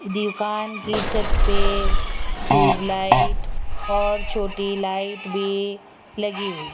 दुकान की छत पे ट्यूब लाइट और छोटी लाइट भी लगी हुई --